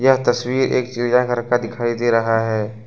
यह तस्वीर एक चिड़ियाघर का दिखाई दे रहा है।